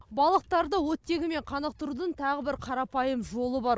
балықтарды оттегімен қанықтырудың тағы бір қарапайым жолы бар